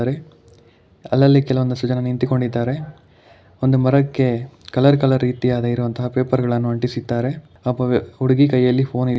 ಅಲ್ಲಲ್ಲಿ ಕೆಲವೊಂದಿಷ್ಟು ಜನ ನಿಂತಿಕೊಂಡಿದ್ದಾರೆ ಒಂದು ಮರಕ್ಕೆ ಕಲರ್ ಕಲರ್ ರೀತಿಯಾದ ಇರುವಂತಹ ಪೇಪರ್ ಗಳನ್ನು ಅಂಟಿಸಿದ್ದಾರೆ ಒಬ್ಬ ವ ಹುಡುಗಿ ಕೈಯಲ್ಲಿ ಫೋನ್ ಇ--